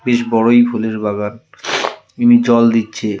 বেশ বড় এই ফুলের বাগান ইনি জল দিচ্ছে।